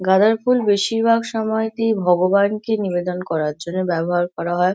গাঁদার ফুল বেশিরভাগ সময়টি ভগবানকে নিবেদন করার জন্য ব্যবহার করা হয়।